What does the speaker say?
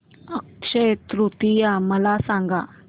अक्षय तृतीया मला सांगा